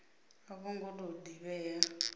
a vho ngo tou divhea